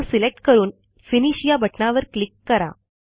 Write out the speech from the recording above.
तो सिलेक्ट करून फिनिश या बटणावर क्लिक करा